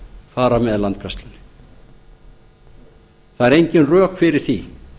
fara með landgræðslunni það eru engin rök fyrir því